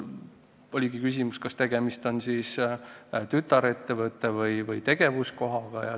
Oli küsimus, kas tegemist on tütarettevõtte või tegevuskohaga.